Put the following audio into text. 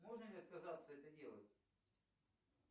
можно ли отказаться это делать